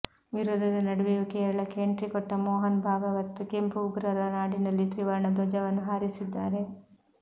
ವಿರೋಧದ ನಡುವೆಯೂ ಕೇರಳಕ್ಕೆ ಎಂಟ್ರಿ ಕೊಟ್ಟ ಮೋಹನ್ ಭಾಗವತ್ ಕೆಂಪು ಉಗ್ರರ ನಾಡಿನಲ್ಲಿ ತ್ರಿವರ್ಣ ಧ್ವಜವನ್ನು ಹಾರಿಸಿದ್ದಾರೆ